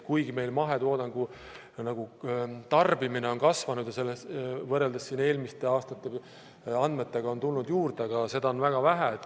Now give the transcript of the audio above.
Kuigi meil mahetoodangu tarbimine on kasvanud ja võrreldes eelmiste aastate andmetega on tulnud juurde, seda on siiski väga vähe.